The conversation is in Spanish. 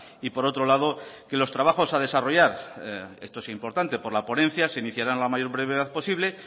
y por otro lado que los trabajos a desarrollar esto es importante por la ponencia se iniciará a la mayor brevedad posible